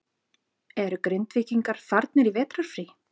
Eru Grindvíkingar farnir í vetrarfrí?